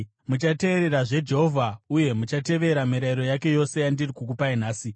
Muchateererazve Jehovha uye muchatevera mirayiro yake yose yandiri kukupai nhasi.